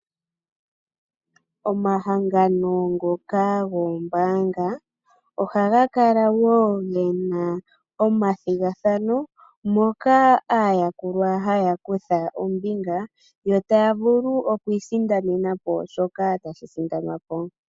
Omahangano ngoka goombaanga ohagakala gena omathigathano, moka aayakulwa hayakutha ombinga yo taya vulu okwii sindanenapo shoka tashi sindanwa.